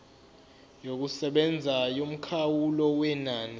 yokusebenza yomkhawulo wenani